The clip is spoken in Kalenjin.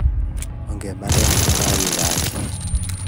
Ongemande amu kagigaage